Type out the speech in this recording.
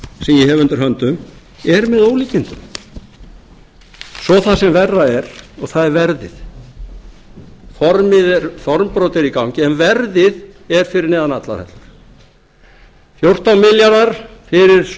hef undir höndum er með ólíkindum svo það sem verra er og það er verðið formbrot er í gangi en verðið er fyrir neðan allar hellur fjórtán milljarðar fyrir